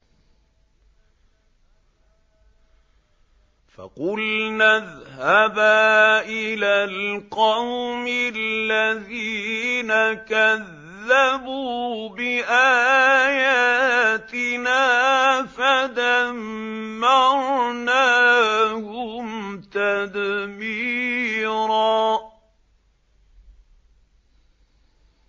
فَقُلْنَا اذْهَبَا إِلَى الْقَوْمِ الَّذِينَ كَذَّبُوا بِآيَاتِنَا فَدَمَّرْنَاهُمْ تَدْمِيرًا